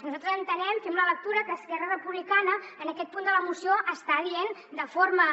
nosaltres entenem fem la lectura que esquerra republicana en aquest punt de la moció està dient de forma